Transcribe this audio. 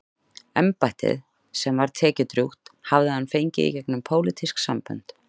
Embættið, sem var tekjudrjúgt, hafði hann fengið gegnum pólitísk sambönd.